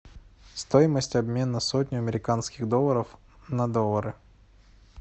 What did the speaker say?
стоимость обмена сотни американских долларов на доллары